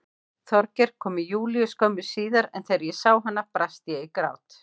Þorgeir kom með Júlíu skömmu síðar en þegar ég sá hana brast ég í grát.